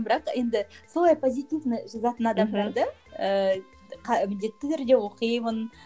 бірақ енді солай позитивно жазатын адамдарды ііі міндетті түрде оқимын